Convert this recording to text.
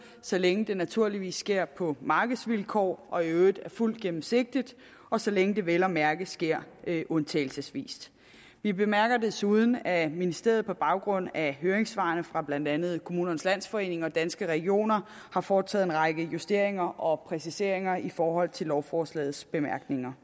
så længe det naturligvis sker på markedsvilkår og der i øvrigt er fuld gennemsigtighed og så længe det vel at mærke sker undtagelsesvist vi bemærker desuden at ministeriet på baggrund af høringssvarene fra blandt andet kommunernes landsforening og danske regioner har foretaget en række justeringer og præciseringer i forhold til lovforslagets bemærkninger